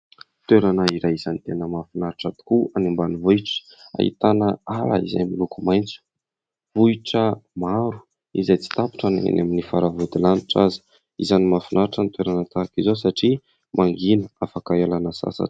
Toerana iray izay tena mahafinaritra tokoa any ambanivohitra ahitana ala izay miloko maitso. Vohitra maro izay tsy tapitra na enỳ amin'ny faravodilanitra aza. Isany mahafinaritra ny toerana tahaka izao satria mangina afaka ialana sasatra.